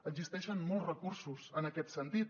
existeixen molts recursos en aquest sentit